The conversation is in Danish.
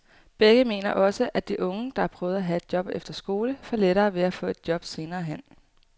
Begge mener også, at de unge, der har prøvet at have et job efter skole, får lettere ved at få et job senere hen.